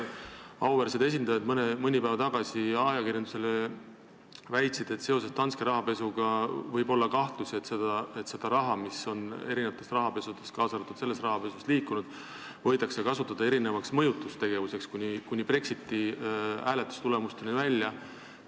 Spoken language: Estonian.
Auväärsed esindajad väitsid mõni päev tagasi ajakirjandusele, et seoses Danske rahapesuga võib olla kahtlusi, et seda raha, mis on liikunud mitmes rahapesus, kaasa arvatud selles, on võidud kasutada mitmesuguseks mõjutustegevuseks kuni Brexiti hääletustulemuste mõjutamiseni välja.